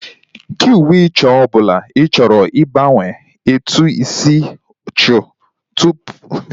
kee uwe ọcha ọbụla ị chọrọ ịgbanwe etu ị si chọọ tupu itinye ya n'ime dai gị